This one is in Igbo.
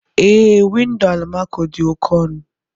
Ee, windo almaco dị oke ọnụ.